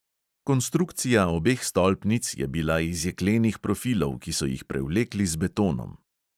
Konstrukcija obeh stolpnic je bila iz jeklenih profilov, ki so jih prevlekli z betonom.